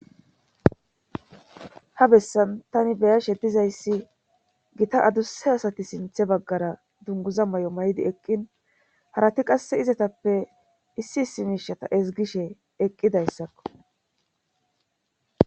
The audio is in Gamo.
Ha bessan tani beya she dizayssi gita adusse asati sinthe baggara dunguza may'o may'di eqqin harati qasse izatappe issi issi miishata ezgishe eqqidayssakko.